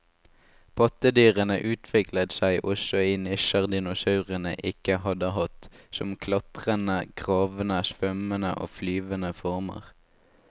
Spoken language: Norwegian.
Pattedyrene utviklet seg også i nisjer dinosaurene ikke hadde hatt, som klatrende, gravende, svømmende og flyvende former.